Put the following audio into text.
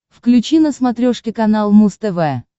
включи на смотрешке канал муз тв